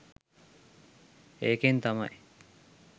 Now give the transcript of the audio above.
ඒකෙන් තමයි